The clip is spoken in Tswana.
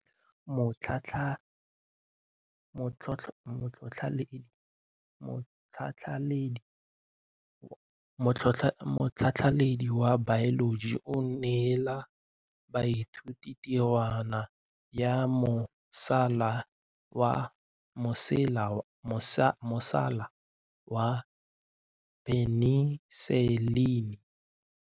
Motlhatlhaledi wa baeloji o neela baithuti tirwana ya mosola wa peniselene.